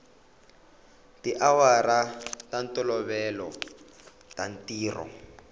tiawara ta ntolovelo ta ntirho